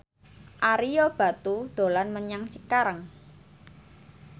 Ario Batu dolan menyang Cikarang